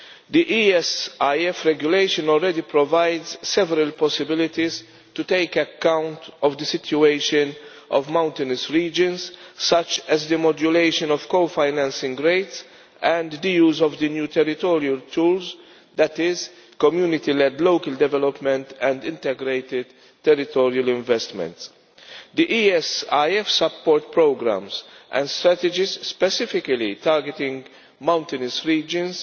The ESIF Regulation already provides several possibilities to take account of the situation of mountainous regions, such as the modulation of co financing rates and the use of the new territorial tools, that is community led local development and integrated territorial investments. The ESIF support programmes and strategies specifically targeting mountainous regions